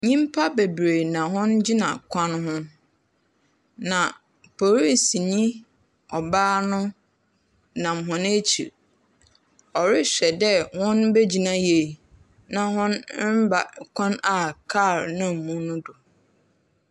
Nnyimpa bebree na wogyina kwan no ho. Na polisinyi baa nam hɔn akyir. Ɔrehwɛ dɛ wɔbegyina yie na wɔremba kwan a car nam do no do.